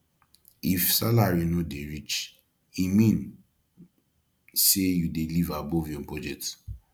if salary no dey reach e mean say you dey live above your budget